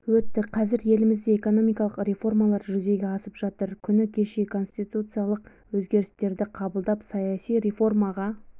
өтті қазір елімізде экономикалық реформалар жүзеге асып жатыр күні кеше конституциялық өзгерістерді қабылдап саяси реформаға